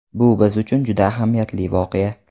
Bu biz uchun juda ahamiyatli voqea.